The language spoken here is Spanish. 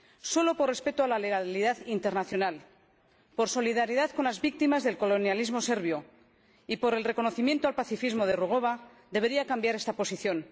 Solo por respeto a la legalidad internacional, por solidaridad con las víctimas del colonialismo serbio y por el reconocimiento al pacifismo de Rugova, debería cambiar esta posición.